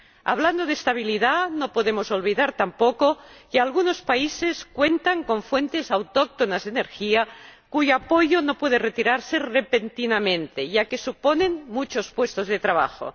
Hablando de estabilidad, no podemos olvidar tampoco que algunos países cuentan con fuentes autóctonas de energía, cuyo apoyo no puede retirarse repentinamente ya que suponen muchos puestos de trabajo.